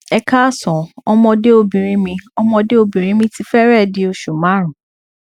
ẹ káàsán ọmọde obinrin mi ọmọde obinrin mi ti fẹrẹẹ di osu marun